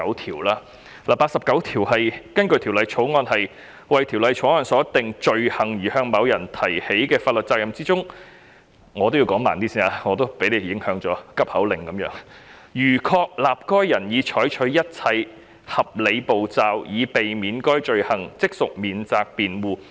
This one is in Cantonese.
《條例草案》第89條訂明：在為《條例草案》所訂罪行而向某人提起的法律程序中——我也被局長所影響，說話如急口令般，我應減慢語速——如確立該人已採取一切合理步驟，以避免犯該罪行，即屬免責辯護。